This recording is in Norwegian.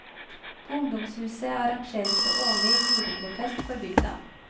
På ungdomshuset arrangeres det årlig juletrefest for bygda.